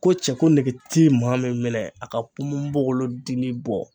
Ko cɛko nege ti maa min minɛ a ka ponbonbogolo dili bɔ.